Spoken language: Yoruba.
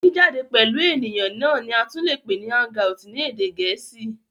Jìjáde pẹ̀lú ènìyàn náà ni a tún lè pè ní hang out ni èdè gẹ̀ẹ́sì.